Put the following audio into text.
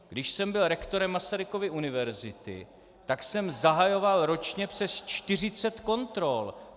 Když jsem byl rektorem Masarykovy univerzity, tak jsem zahajoval ročně přes 40 kontrol.